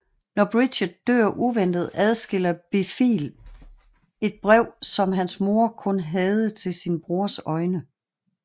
Når Bridget dør uventet adskiller Blifil et brev som hans mor kun havde til sin brors øjne